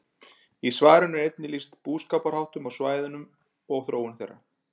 Í svarinu er einnig lýst búskaparháttum á svæðinu og þróun þeirra.